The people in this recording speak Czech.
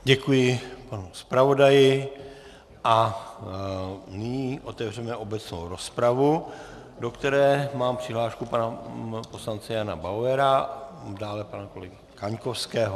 Děkuji panu zpravodaji a nyní otevřeme obecnou rozpravu, do které mám přihlášku pana poslance Jana Bauera, dále pana kolegy Kaňkovského.